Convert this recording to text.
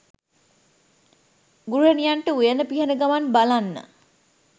ගෘහණියන්ට උයන පිහන ගමන් බලන්න.